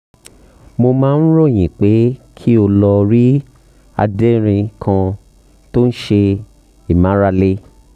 mo máa ń ròyìn pé kí o lọ rí adérin kan tó ń ṣe ìmárale